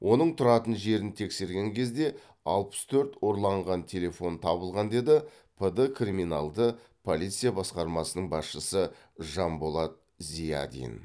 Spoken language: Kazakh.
оның тұратын жерін тексерген кезде алпыс төрт ұрланған телефон табылған деді пд криминалды полиция басқармасының басшысы жанболат зиадин